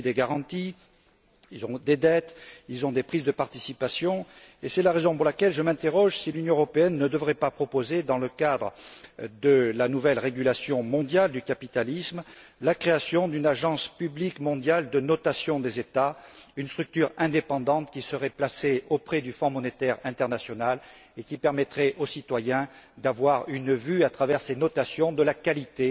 Ils ont pris des garanties, ils ont des dettes, ils ont des prises de participation, et c'est la raison pour laquelle je me demande si l'Union européenne ne devrait pas proposer, dans le cadre de la nouvelle régulation mondiale du capitalisme, la création d'une agence publique mondiale de notation des États, une structure indépendante qui serait placée auprès du Fonds monétaire international et qui permettrait aux citoyens d'avoir une vue, à travers ces notations, de la qualité